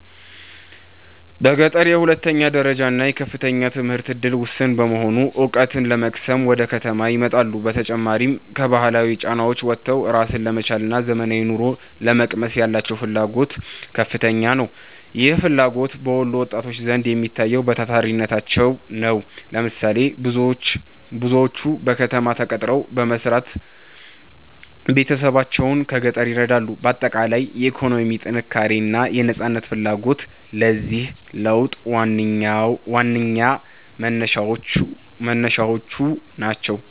በገጠር የሁለተኛ ደረጃና የከፍተኛ ትምህርት ዕድል ውስን በመሆኑ፣ ዕውቀት ለመቅሰም ወደ ከተማ ይመጣሉ። በተጨማሪም፣ ከባህላዊ ጫናዎች ወጥቶ ራስን ለመቻልና ዘመናዊ ኑሮን ለመቅመስ ያላቸው ፍላጎት ከፍተኛ ነው። ይህ ፍላጎት በወሎ ወጣቶች ዘንድ የሚታየው በታታሪነታቸው ነው። ለምሳሌ፦ ብዙዎቹ በከተማ ተቀጥረው በመስራት ቤተሰቦቻቸውን ከገጠር ይረዳሉ። ባጠቃላይ፣ የኢኮኖሚ ጥንካሬና የነፃነት ፍላጎት ለዚህ ለውጥ ዋነኛ መነሻዎች ናቸው።